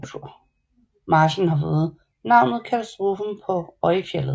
Marchen har fået navnet katastrofen på Öjfjället